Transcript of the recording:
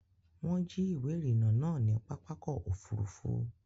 Wọ́n jí ìwé ìrìnnà náà ní pápákọ̀ òfurufú.